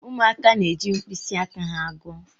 Ụmụaka na-eji mkpịsị aka ha gụọ.